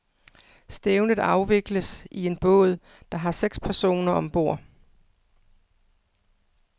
Stævnet afvikles i en båd, der har seks personer ombord.